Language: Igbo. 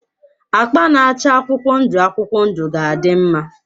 Akpa na-acha akwụkwọ ndụ akwụkwọ ndụ ga-adị mma.